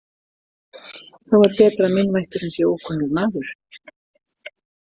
Þá er betra að meinvætturin sé ókunnur maður.